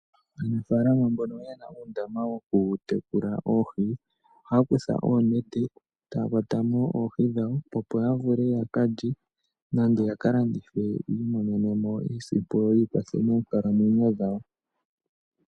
Aanafalama mbono yena uundama woku tekula oohi ohaya kutha onete etaya kwata mo oohi dhawo opo ya vule ya kalye nenge ya kalandithe yimonene mo iiyemo yikwathe monkalamwenyo dhawo.